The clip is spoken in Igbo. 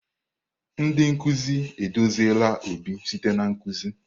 Ndị nkuzi eduziela Obi site na nkuzi.